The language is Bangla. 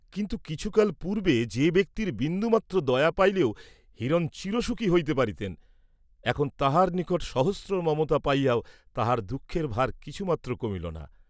কিন্তু কিছুকাল পূর্ব্বে যে ব্যক্তির বিন্দুমাত্র দয়া পাইলেও হিরণ চিবসুখী হইতে পারিতেন, এখন তাঁহার নিকট হইতে সহস্র মমতা পাইয়াও তাঁহার দুঃখের ভার কিছুমাত্র কমিল না।